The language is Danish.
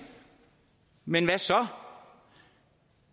men hvad så